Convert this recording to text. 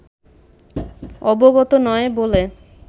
অবগত নয় বলে